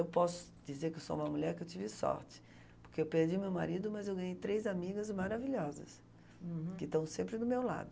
Eu posso dizer que eu sou uma mulher que eu tive sorte, porque eu perdi meu marido, mas eu ganhei três amigas maravilhosas. Uhum. Que estão sempre do meu lado.